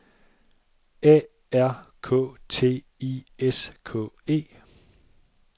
A R K T I S K E